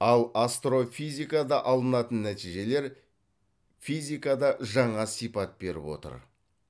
ал астрофизикада алынатын нәтижелер физикада жаңа сипат беріп отыр